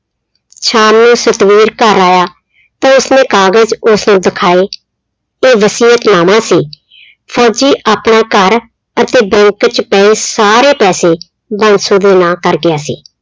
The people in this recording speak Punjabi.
ਸ਼ਾਮ ਨੂੰ ਸਤਵੀਰ ਘਰ ਆਇਆ ਤੇ ਉਸਨੇ ਕਾਗ਼ਜ਼ ਉਸਨੂੰ ਦਿਖਾਏ, ਉਹ ਵਸੀਅਤ ਨਾਮਾ ਸੀ ਫ਼ੋਜ਼ੀ ਆਪਣਾ ਘਰ ਅਤੇ bank 'ਚ ਪਏ ਸਾਰੇ ਪੈਸੇ ਬਾਂਸੋ ਦੇ ਨਾਂ ਕਰ ਗਿਆ ਸੀ।